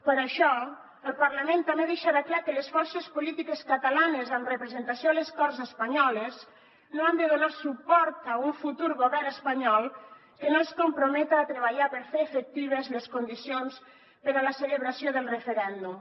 per això el parlament també deixarà clar que les forces polítiques catalanes amb representació a les corts espanyoles no han de donar suport a un futur govern espanyol que no es comprometa a treballar per fer efectives les condicions per a la celebració del referèndum